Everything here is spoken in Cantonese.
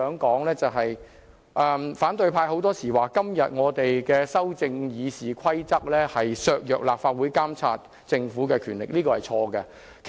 主席，反對派經常說我們修改《議事規則》的建議會削弱立法會監察政府的權力，這是錯的。